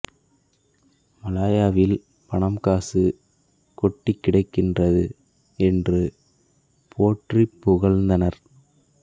மலாயாவில் பணம் காசு கொட்டிக் கிடக்கின்றது என்று போற்றிப் புகழ்ந்தனர்